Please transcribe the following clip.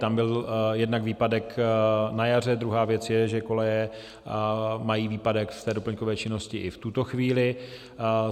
Tam byl jednak výpadek na jaře, druhá věc je, že koleje mají výpadek z té doplňkové činnosti i v tuto chvíli.